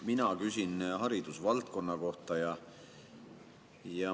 Mina küsin haridusvaldkonna kohta.